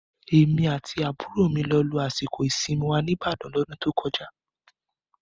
Èmi àti àbúrò mi lọ lo àsìkò ìsinmi wa ní Ìbàdàn L'ọ́dún tó kọjá